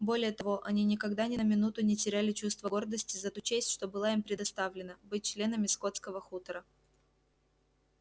более того они никогда ни на минуту не теряли чувства гордости за ту честь что была им предоставлена быть членами скотского хутора